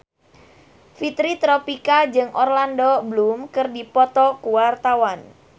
Fitri Tropika jeung Orlando Bloom keur dipoto ku wartawan